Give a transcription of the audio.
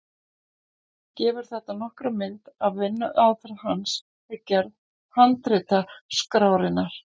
Gefur þetta nokkra mynd af vinnuaðferð hans við gerð handritaskrárinnar.